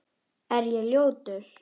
Er ég ljótur?